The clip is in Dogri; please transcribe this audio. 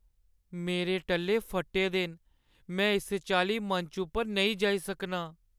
मेरे टल्ले फट्टे दे न। में इस चाल्ली मंच पर नेईं जाई सकनां।